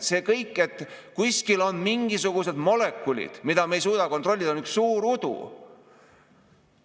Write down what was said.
See kõik, et kuskil on mingisugused molekulid, mida me ei suuda kontrollida, on üks suur udu.